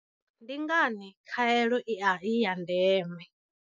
Ndi ngani khaelo i ya ndeme?